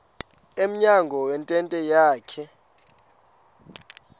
emnyango wentente yakhe